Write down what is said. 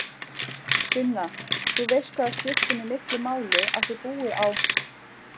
Sunna, þú veist hvað það skiptir mig miklu máli að þau búi á